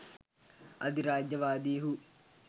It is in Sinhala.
අධිරාජ්‍යවාදීහු